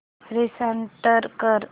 restart कर